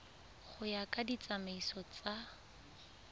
go ya ka ditsamaiso tsa